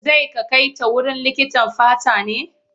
Zai ka kai ta wurin likitan fata ne?